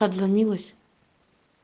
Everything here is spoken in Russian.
отзвонилась